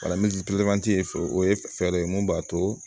ye fɛ o ye fɛɛrɛ ye mun b'a to